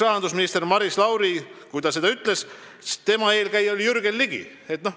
Kui Maris Lauri oli sellel hetkel juba eksrahandusminister, siis tema eelkäija oli Jürgen Ligi.